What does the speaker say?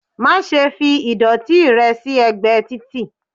má ṣe fí ìdòtí rẹ sí ẹgbẹ Tìtì